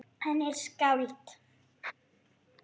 Hann er skáld.